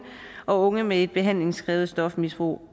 og unge med et behandlingskrævende stofmisbrug